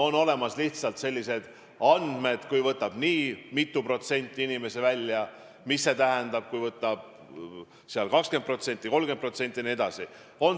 On olemas lihtsalt sellised andmed, et kui võtab nii mitu protsenti inimesi raha välja, siis mis see tähendab: kui raha võtab välja 20% või 30% jne.